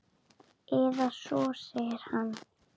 Eða svo segir hann!